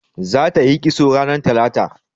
Za ta yi kisto ranar talata